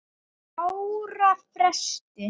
ára fresti.